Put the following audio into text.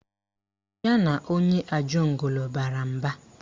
Ya na onye Ajegunle bara mba